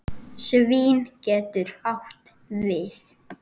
Svín getur átt við